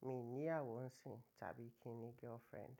Mi ò ní iyawo sin àbí kí ni girlfriend.